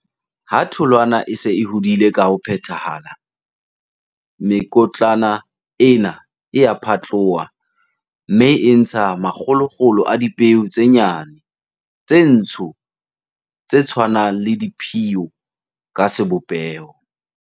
Ha tholwana e se e hodile ka ho phethahala, mekotlana ena e a phatloha, mme e ntsha makgolokgolo a dipeo tse nyane, tse ntsho, tse tshwanang le diphiyo ka sebopeho.